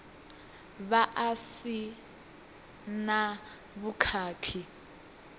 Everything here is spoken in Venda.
vha a si na vhukhakhi